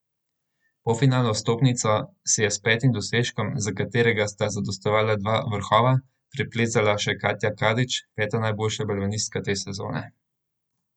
Polfinalno vstopnico si je s petim dosežkom, za katerega sta zadostovala dva vrhova, priplezala še Katja Kadić, peta najboljša balvanistka te sezone.